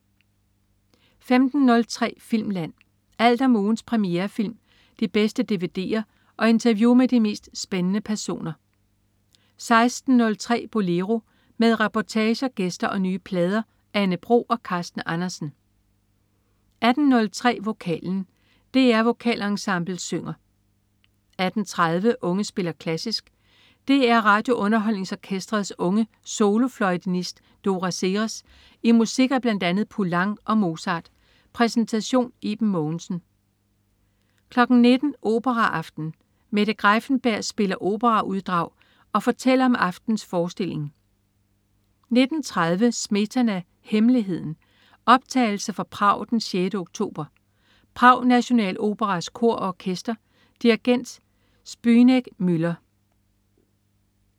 15.03 Filmland. Alt om ugens premierefilm, de bedste dvd'er og interview med de mest spændende personer 16.03 Bolero. Med reportager, gæster og nye plader. Anne Bro og Carsten Andersen 18.03 Vokalen. DR Vokalensemblet synger 18.30 Unge spiller klassisk. DR RadioUnderholdningsOrkestrets unge solofløjenist Dora Seres i musik af bl.a. Poulenc og Mozart. Præsentation: Iben Mogensen 19.00 Operaaften. Mette Greiffenberg spiller operauddrag og fortæller om aftenens forestilling 19.30 Smetana: Hemmeligheden. Optagelse fra Prag den 6. oktober. Prag Nationaloperas Kor og Orkester. Dirigent: Zbynek Müller